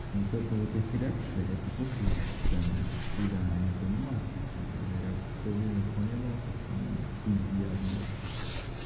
вот это вот их реакция это просто бесценно когда они понимают то что я все время понимал то что они пиздят бля